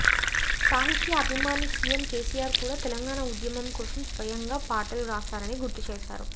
సాహిత్య అభిమాని సీఎం కేసీఆర్ కూడా తెలంగాణ ఉద్యమం కోసం స్వయంగా పాటలు రాశారని గుర్తు చేశారు